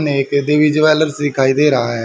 सामने एक देवी ज्वेलर्स दिखाई दे रहा है।